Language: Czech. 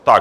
Tak.